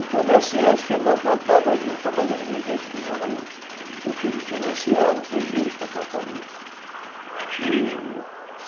O comerciante que não plantava juta, mas ele vivia em função da juta, porque ele financiava o freguês para plantar juta e...